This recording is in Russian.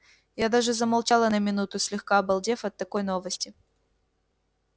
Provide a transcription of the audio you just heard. я даже замолчала на минуту слегка обалдев от такой новости